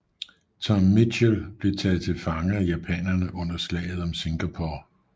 Tom Mitchell blev taget til fange af japanerne under slaget om Singapore